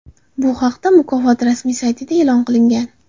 Bu haqda mukofot rasmiy saytida ma’lum qilingan .